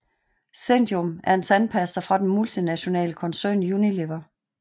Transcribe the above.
zendium er en tandpasta fra den multinationale koncern Unilever